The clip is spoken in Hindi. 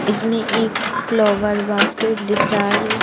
इसमें एक फ्लावर बास्केट दिख रहा है।